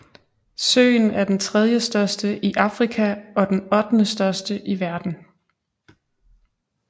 Søen er den tredjestørste i Afrika og den ottendestørste i verden